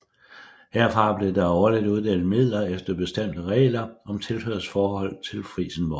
Herfra blev der årligt uddelt midler efter bestemte regler om tilhørsforhold til Frijsenborg